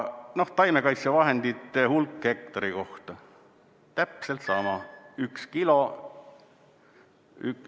Taimekaitsevahendite hulk hektari kohta – täpselt sama, üks kilo.